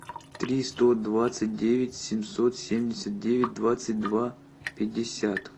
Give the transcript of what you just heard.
три сто двадцать девять семьсот семьдесят девять двадцать два пятьдесят